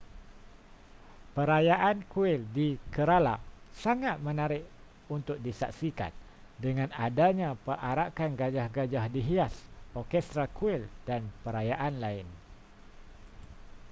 perayaan kuil di kerala sangat menarik untuk disaksikan dengan adanya perarakan gajah-gajah dihias orkestra kuil dan perayaan lain